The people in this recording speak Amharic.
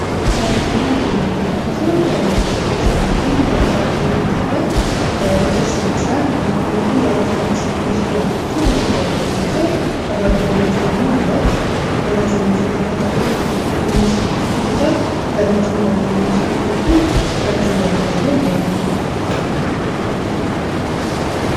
በምስሉ ላይ የምንመለከተው በኢትዮጵያ ውስጥ የሚገኝ ቆየት ያለ ቅርስ ይመስላል። በፊትለፊቱ የአክሱም ቅርስ የሚመስሉ ያላቸው ሀገር ለት በሮችን ይዟል። ከበሩ በላዮች ደግሞ ሁለት በትንሹ የተከፈቱ መስኮቶችን ይዟል በረጅሙ በአንደኛው መስኮት በኩል ረጅም ገመድ ያለው ደውል እንመለከታለን።